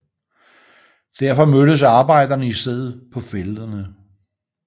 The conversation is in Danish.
Derfor mødtes arbejderne i stedet på Fællederne